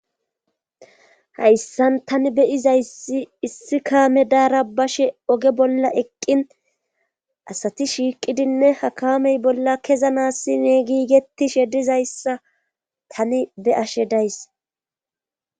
Hayssan tani beyizayssi issi kaame daara bashe oge bolla eqqin asati shiiqidinne hakamey bolla kezanassi neegiigettishe dizayssa tani be ashe days.